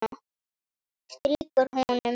Strýkur honum.